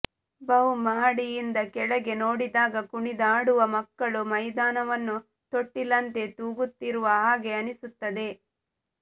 ಬಹು ಮಹಡಿಯಿಂದ ಕೆಳಗೆ ನೋಡಿದಾಗ ಕುಣಿದಾಡುವ ಮಕ್ಕಳು ಮೈದಾನವನ್ನು ತೊಟ್ಟಿಲಂತೆ ತೂಗುತ್ತಿರುವ ಹಾಗೆ ಅನಿಸುತ್ತದೆ